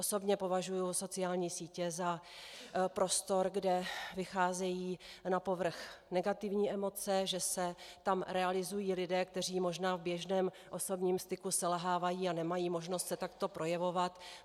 Osobně považuji sociální sítě za prostor, kde vycházejí na povrch negativní emoce, že se tam realizují lidé, kteří možná v běžném osobním styku selhávají a nemají možnost se takto projevovat.